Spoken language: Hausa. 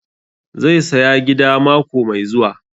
Zai saya gida mako mai zuwa